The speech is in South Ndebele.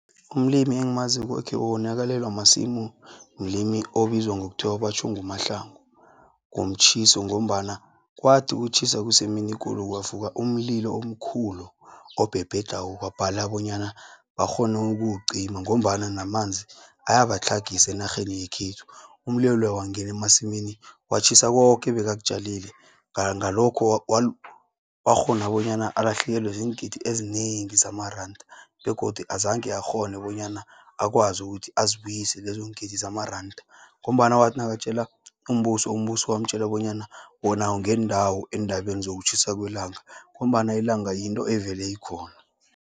Umlimi engimaziko okhe wonakalelwa masimu, mlimi obizwa ngokuthiwa batjho nguMahlangu komtjhiso, ngombana kwathi kutjhisa kusemini ekulu kwavuka umlilo omkhulu obhebhedlako kwabhala bonyana bakghone ukuwucima, ngombana namanzi ayabatlhagisa enarheni yekhethu. Umlilo loya wangeni emasimini watjhiya koke ebekakutjalile, ngalokho wakghona bonyana alahlekelwe ziingidi ezinengi zamaranda, begodu azange akghone, bonyana akwazi ukuthi azibuyise lezongiindi zamaranda, ngombana wathi nakatjela umbuso, umbuso wamtjela bonyana wona awungenindawo eendabeni zokutjhisa kwelanga, ngombana ilanga yinto evele ikhona.